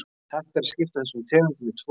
Hægt er að skipta þessum tegundum í tvo hópa.